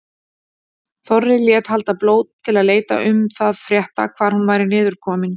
Þorri lét halda blót til að leita um það frétta hvar hún væri niður komin.